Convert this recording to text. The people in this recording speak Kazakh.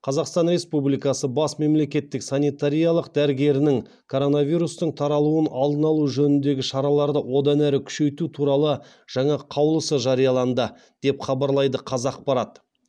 қазақстан республикасы бас мемлекеттік санитариялық дәрігерініңкоронавирустың таралуын алдын алу жөніндегі шараларды одан әрі күшейту туралы жаңа қаулысы жарияланды деп хабарлайды қазақпарат